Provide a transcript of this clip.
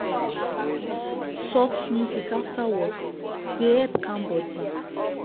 soft music after work dey help calm body.